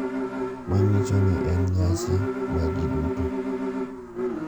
Manyiso ni en nyasi ma ji duto.